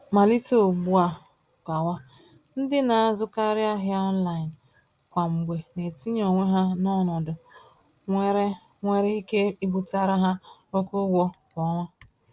Malite ùgbúà gawa, ndị na-azụkarị ahịa online kwa mgbe na-etinye onwe ha n'ọnọdụ nwere nwere ike ibutere ha oke ụgwọ kwa ọnwa.